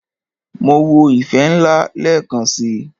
Máa wo "ìfẹ́ ńlá" lẹ́ẹ̀kan si.